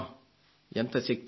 ఎంత శక్తి ఉంది